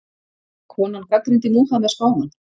Konan gagnrýndi Múhameð spámann